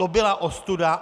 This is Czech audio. To byla ostuda!